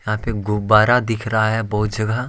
यहां पे गुब्बारा दिख रहा है बहुत जगह।